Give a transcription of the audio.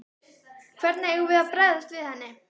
Hvernig eigum við að bregðast við henni?